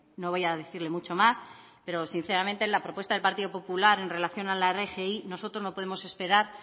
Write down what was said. no voy a decirle mucho más pero sinceramente la propuesta del partido popular en relación a la rgi nosotros no podemos esperar